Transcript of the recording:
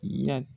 Yan